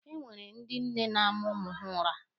Enwere ndị nne na-ama ụmụ ha ụra